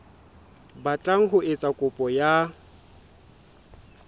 batlang ho etsa kopo ya